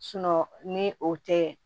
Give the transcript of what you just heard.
ni o tɛ